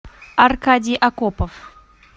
аркадий окопов